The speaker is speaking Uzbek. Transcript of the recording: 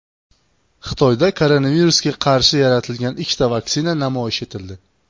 Xitoyda koronavirusga qarshi yaratilgan ikkita vaksina namoyish etildi.